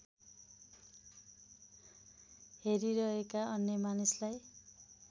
हेरिरहेका अन्य मानिसलाई